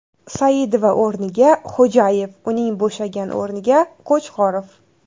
Saidova o‘rniga Xo‘jayev, uning bo‘shagan o‘rniga Qo‘chqorov.